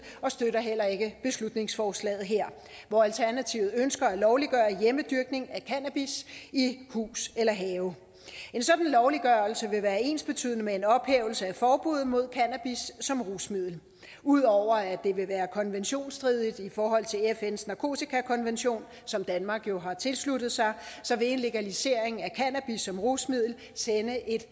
og støtter heller ikke beslutningsforslaget her hvor alternativet ønsker at lovliggøre hjemmedyrkning af cannabis i hus eller have en sådan lovliggørelse vil være ensbetydende med en ophævelse af forbuddet mod cannabis som rusmiddel ud over at det vil være konventionsstridigt i forhold til fns narkotikakonvention som danmark jo har tilsluttet sig vil en legalisering af cannabis som rusmiddel sende et